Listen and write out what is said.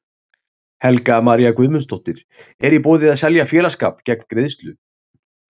Helga María Guðmundsdóttir: Er í boði að selja félagsskap gegn greiðslu?